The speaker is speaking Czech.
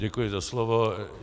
Děkuji za slovo.